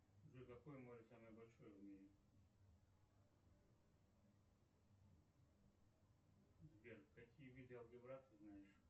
джой какой море самое большое в мире сбер какие виды алгебра ты знаешь